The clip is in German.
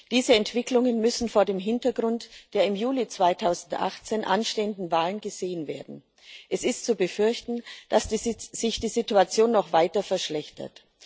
Diese Entwicklungen müssen vor dem Hintergrund der im Juli 2018 anstehenden Wahlen gesehen werden. Es ist zu befürchten, dass sich die Situation noch weiter verschlechtert.